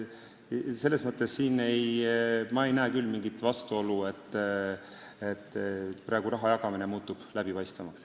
Selles mõttes ei näe ma siin küll mingit vastuolu, kui raha jagamine muutub läbipaistvamaks.